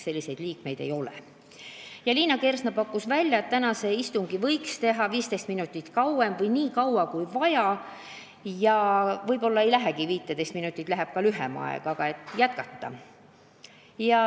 Liina Kersna pakkus välja, et võiks teha istungi 15 minutit pikema või nii kaua kui vaja, sest võib-olla ei lähegi 15 minutit, läheb lühem aeg.